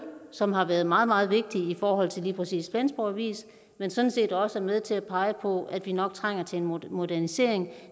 som har været meget meget vigtig i forhold til lige præcis flensborg avis sådan set også er med til at pege på at vi nok trænger til en modernisering